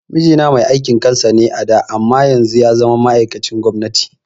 Mijina mai aikin kansa ne a da can amma yanzu yazama ma'aikacin gwamnati